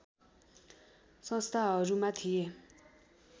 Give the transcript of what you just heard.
संस्थाहरूमा थिए